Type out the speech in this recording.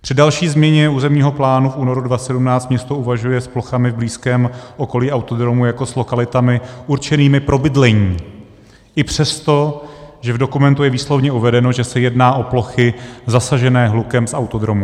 Při další změně územního plánu v únoru 2017 město uvažuje s plochami v blízkém okolí autodromu jako s lokalitami určenými pro bydlení i přesto, že v dokumentu je výslovně uvedeno, že se jedná o plochy zasažené hlukem z autodromu.